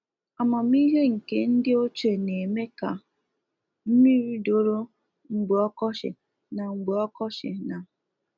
Amamihe nke ndị oche na eme ka, mmiri doro mgbe ọkọchị na mgbe ọkọchị na